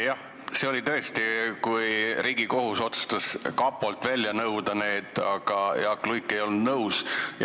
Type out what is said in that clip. Jah, see oli tõesti siis, kui Riigikohus otsustas, kas nimi kapolt välja nõuda, ja Jaak Luik ei olnud nõus.